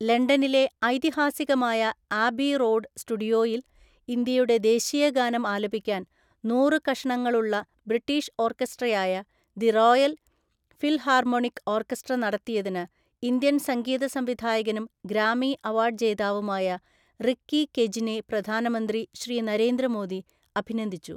ലണ്ടനിലെ ഐതിഹാസികമായ Abbey road സ്റ്റുഡിയോയിൽ ഇന്ത്യയുടെ ദേശീയ ഗാനം ആലപിക്കാൻ നൂറു കഷണങ്ങളുള്ള ബ്രിട്ടീഷ് ഓർക്കസ്ട്രയായ ദി റോയൽ ഫിൽഹാർമോണിക് ഓർക്കസ്ട്ര നടത്തിയതിന് ഇന്ത്യൻ സംഗീത സംവിധായകനും ഗ്രാമി അവാർഡ് ജേതാവുമായ റിക്കി കെജിനെ പ്രധാനമന്ത്രി ശ്രീ നരേന്ദ്ര മോദി അഭിനന്ദിച്ചു.